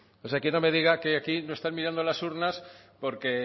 toca o sea que no me diga que aquí no están mirando a las urnas porque